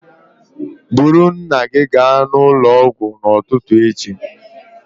Buru nna gị gaa ụlọ ọgwụ n'ụtụtụ echi